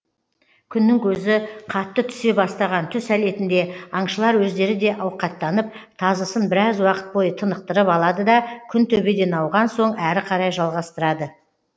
күннің көзі қатты түсе бастаған түс әлетінде аңшылар өздері де ауқаттанып тазысын біраз уақыт бойы тынықтырып алады да күн төбеден ауған соң әрі қарай жалғастырады